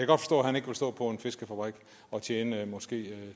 han ikke vil stå på en fiskefabrik og tjene måske